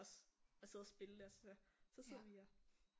Også at sidde og spille det og så sidder vi og